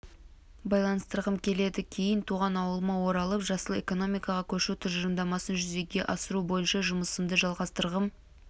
байланыстырғым келеді кейін туған ауылыма оралып жасыл экономикаға көшу тұжырымдамасын жүзеге асыру бойынша жұмысымды жалғастырғым